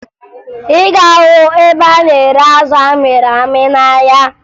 Ị ga-ahụ ebe a na-ere azụ amịrị amị n'ahịa